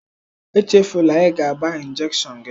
Echefula ịga gbaa njekshọn gị!